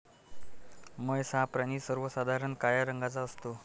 म्हैस हा प्राणी सर्वसाधारण काळ्या रंगाचा असतो.